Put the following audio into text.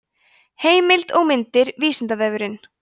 heimild og myndir vísindavefurinn